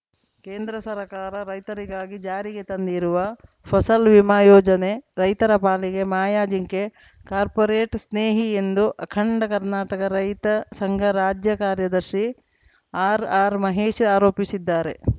ಕೇಂದ್ರ ಸರ್ಕಾರ ರೈತರಿಗಾಗಿ ಜಾರಿಗೆ ತಂದಿರುವ ಫಸಲ್‌ ವಿಮಾ ಯೋಜನೆ ರೈತರ ಪಾಲಿಗೆ ಮಾಯಾಜಿಂಕೆ ಕಾರ್ಪೋರೇಟ್‌ ಸ್ನೇಹಿ ಎಂದು ಅಖಂಡ ಕರ್ನಾಟಕ ರೈತ ಸಂಘ ರಾಜ್ಯ ಕಾರ್ಯದರ್ಶಿ ಆರ್‌ಆರ್‌ ಮಹೇಶ್‌ ಆರೋಪಿಸಿದ್ದಾರೆ